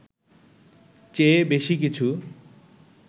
চেয়ে বেশি কিছু